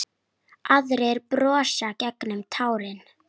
Aðrir brosa gegnum tárin.